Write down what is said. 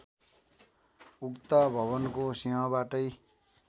उक्त भवनको सिंहबाटै